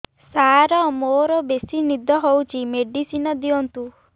ସାର ମୋରୋ ବେସି ନିଦ ହଉଚି ମେଡିସିନ ଦିଅନ୍ତୁ